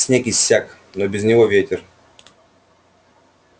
снег иссяк но без него ветер